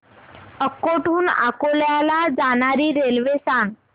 अकोट हून अकोला ला जाणारी रेल्वे सांग